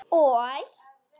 Og?